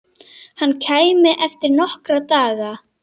Hann kæmi eftir nokkra daga.